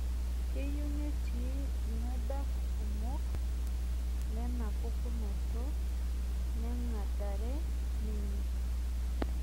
Keyieu netii iladak kumok lenapukunoto neng'dare ninye